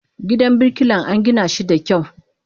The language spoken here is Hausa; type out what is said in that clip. Gidan birkilan angina shi da kyau.